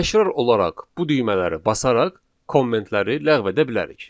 Təkrar olaraq bu düymələri basaraq kommentləri ləğv edə bilərik.